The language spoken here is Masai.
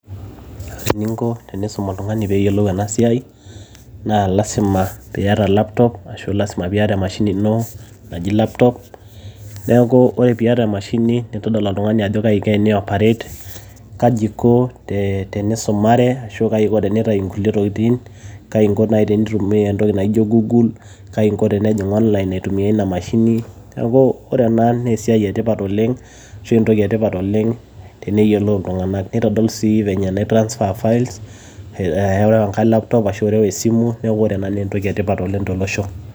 Ore ening'o teniisum oltung'ani pee eyiolou ena siai naa lasima peiyata laptop ashu lasima peiyata emashini ino naji laptop neaku ore peiyata emashini naitodolu oltung'ani ajo kayi eiko teneoparet, kaji eiko teneisumare ashu teneitau ingulie tokitin, Kai eiko teneitumia naaji engulie tokitin naijio gugul, kaji eiko tenejing' onlain aitumiya ena mashini neeku ore ena naa esiai etipat oleng' ashu entoki etipat oleng' teniyiolou iltung'anak, neitodol sii feenye enaitransfaa files areu engae laptop ashu areu esimu neeku ore ena naa entoki etipat oleng' tolosho.